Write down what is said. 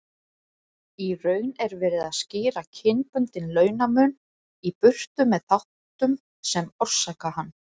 Í raun er verið að skýra kynbundinn launamun í burtu með þáttum sem orsaka hann.